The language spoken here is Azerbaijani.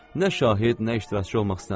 Nə şahid, nə iştirakçı olmaq istəmirəm.